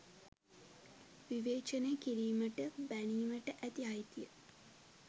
විවේචනය කිරීමට බැනීමට ඇති අයිතිය